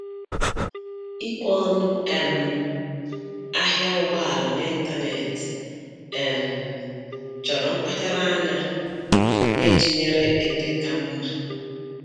Ikwe ọnụ um ahịa ụgbọala n'ịntaneetị um chọrọ mkpacharaanya na-ịtụnyere ebe ka mma